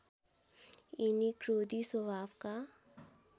यिनी क्रोधी स्वभावका